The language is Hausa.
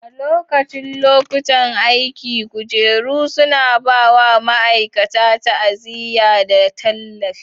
A lokacin lokutan aiki, kujeru suna ba wa ma'aikata ta'aziyya da tallafi.